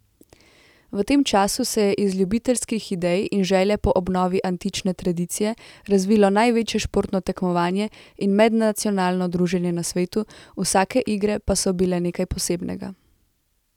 V tem času se je iz ljubiteljskih idej in želje po obnovi antične tradicije razvilo največje športno tekmovanje in mednacionalno druženje na svetu, vsake igre pa so bile nekaj posebnega.